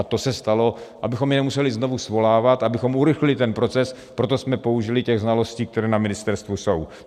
A to se stalo, abychom je nemuseli znovu svolávat, abychom urychlili ten proces, proto jsme použili těch znalostí, které na ministerstvu jsou.